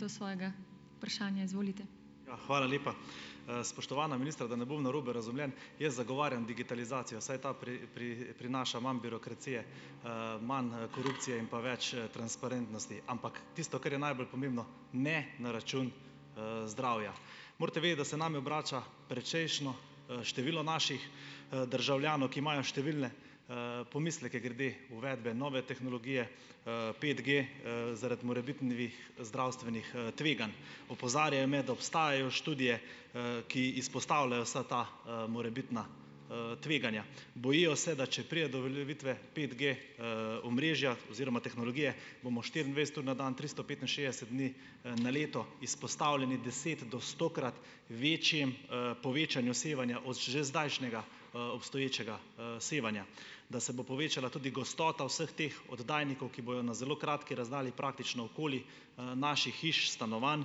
Ja, hvala lepa. Spoštovana ministra, da ne bom narobe razumljen. Jaz zagovarjam digitalizacijo, saj ta prinaša manj birokracije, manj, korupcije in pa več, transparentnosti, ampak tisto, kar je najbolj pomembno, ne na račun, zdravja. Morate vedeti, da se name obrača precejšnje, število naših, državljanov, ki imajo številne, pomisleke glede uvedbe nove tehnologije, petG, zaradi morebitnih zdravstvenih, tveganj. Opozarjajo me, da obstajajo študije, ki izpostavljajo vsa ta, morebitna, tveganja. Bojijo se, da če pride do uveljavitve petG, omrežja oziroma tehnologije, bomo štiriindvajset ur na dan, tristo petinšestdeset dni, na leto izpostavljeni deset- do stokrat večjemu, povečanju sevanja od že zdajšnjega, obstoječega, sevanja. Da se bo povečala tudi gostota vseh teh oddajnikov, ki bojo na zelo kratki razdalji praktično okoli, naših hiš, stanovanj,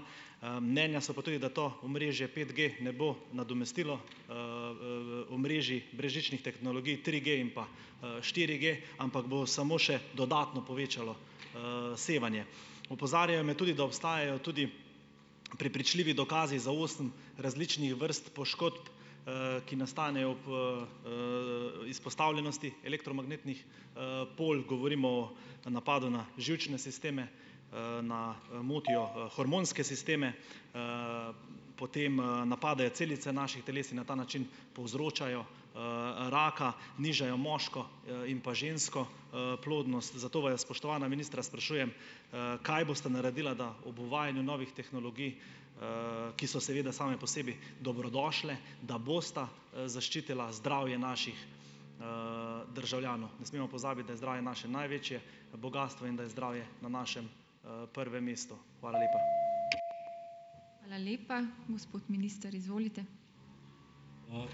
mnenja so pa tudi, da to omrežje petG ne bo nadomestilo, omrežij brezžičnih tehnologij triG in pa, štiriG, ampak bo samo še dodatno povečalo, sevanje. Opozarjajo me tudi, da obstajajo tudi prepričljivi dokazi za osem različnih vrst poškodb, ki nastanejo ob, izpostavljenosti elektromagnetnih, polj, govorimo o napadu na živčne sisteme, na, motijo hormonske sisteme, potem, napadajo celice naših teles in na ta način povzročajo, raka, nižajo moško, in pa žensko, plodnost, zato vaju, spoštovana ministra, sprašujem, kaj bosta naredila, da ob uvajanju novih tehnologij, ki so seveda same po sebi dobrodošle, da bosta, zaščitila zdravje naših, državljanov. Ne smemo pozabiti, da je zdravje naše največje bogastvo in da je zdravje na našem, prvem mestu. Hvala lepa.